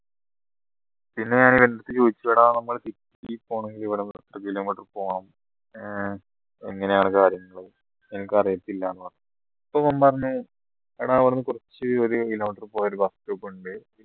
പിന്നെ ഞാൻ ഇവന്റെ അടുത്ത് ചോദിച്ചു എടാ city യിൽ പോണെങ്കിൽ ഇവിടുന്ന് എത്ര kilometer പോണം ഏർ എങ്ങനെയാണ് കാര്യങ്ങൾ എനിക്കറിയത്തില്ലന്ന് പറഞ്ഞു അപ്പോ അവൻ പറഞ്ഞു എടാ ഇവിടുന്ന് കുറച്ച് ഒരു kilometer പോയാ ഒരു bus stop ഉണ്ട്